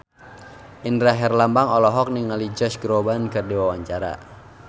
Indra Herlambang olohok ningali Josh Groban keur diwawancara